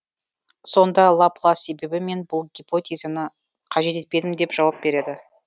сонда лаплас себебі мен бұл гипотезаны қажет етпедім деп жауап береді